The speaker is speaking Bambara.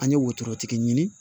An ye wotoro tigi ɲini